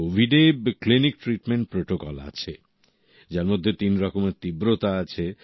কোভিডে clinic treatment protocol আছে যার মধ্যে তিন রকমের তীব্রতা আছে